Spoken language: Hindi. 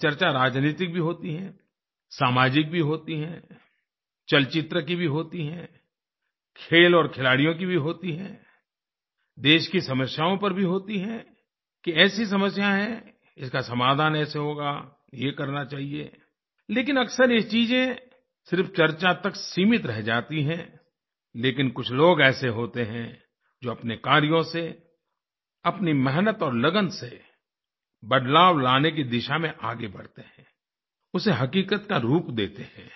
ये चर्चा राजनीतिक भी होती है सामाजिक भी होती है चलचित्र की भी होती है खेल और खिलाड़ियों की भी होती है देश की समस्याओं पर भी होती है कि ऐसी समस्या है इसका समाधान ऐसे होगा ये करना चाहिए लेकिन अक्सर ये चीज़ें सिर्फ चर्चा तक सीमित रह जाती हैं लेकिन कुछ लोग ऐसे होते हैं जो अपने कार्यों से अपनी मेहनत और लगन से बदलाव लाने की दिशा में आगे बढ़ते हैं उसेहकीकत का रूप देते हैं